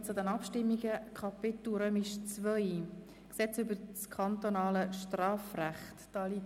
Wir gelangen zu den Abstimmungen und beginnen mit dem Gesetz über das kantonale Strafrecht (KStrG).